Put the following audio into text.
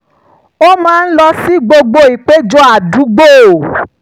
ó máa ń lọ sí gbogbo ìpéjọ àdúgbò